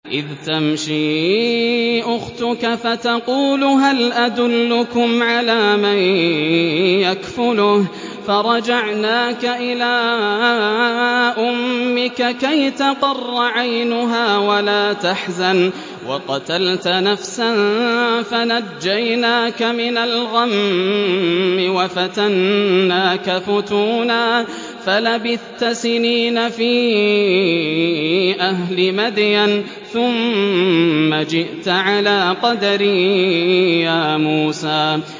إِذْ تَمْشِي أُخْتُكَ فَتَقُولُ هَلْ أَدُلُّكُمْ عَلَىٰ مَن يَكْفُلُهُ ۖ فَرَجَعْنَاكَ إِلَىٰ أُمِّكَ كَيْ تَقَرَّ عَيْنُهَا وَلَا تَحْزَنَ ۚ وَقَتَلْتَ نَفْسًا فَنَجَّيْنَاكَ مِنَ الْغَمِّ وَفَتَنَّاكَ فُتُونًا ۚ فَلَبِثْتَ سِنِينَ فِي أَهْلِ مَدْيَنَ ثُمَّ جِئْتَ عَلَىٰ قَدَرٍ يَا مُوسَىٰ